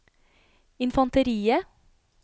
infanteriet